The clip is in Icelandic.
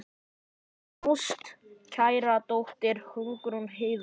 Þín ástkæra dóttir, Hugrún Heiða.